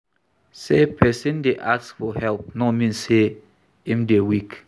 Sey pesin dey ask for help no mean sey im dey weak.